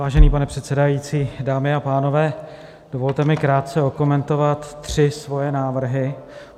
Vážený pane předsedající, dámy a pánové, dovolte mi krátce okomentovat tři své návrhy.